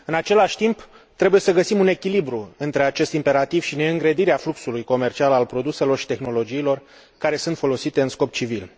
În același timp, trebuie să găsim un echilibru între acest imperativ și neîngrădirea fluxului comercial al produselor și tehnologiilor care sunt folosite în scop civil.